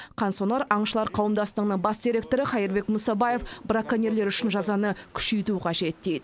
қансонар аңшылар қауымдастығының бас директоры қайырбек мұсабаев браконьерлер үшін жазаны күшейту қажет дейді